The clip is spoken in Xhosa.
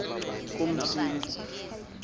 kumsintsi